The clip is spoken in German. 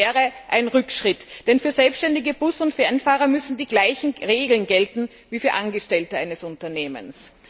Es wäre ein Rückschritt, denn für selbständige Bus und Fernfahrer müssen die gleichen Regeln gelten wie für Angestellte eines Unternehmens.